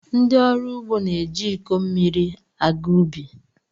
Ndi ọrụ ugo na-eji iko mmiri aga ubi.